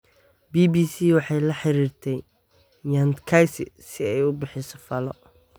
BBC waxay la xiriirtay Nyantakyi si ay u bixiso faallo.